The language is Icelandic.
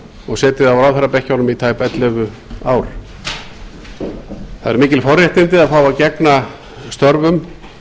og setið á ráðherrabekkjunum í tæp ellefu ár það eru mikil forréttindi að fá að gegna störfum